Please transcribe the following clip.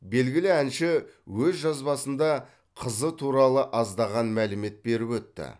белгілі әнші өз жазбасында қызы туралы аздаған мәлімет беріп өтті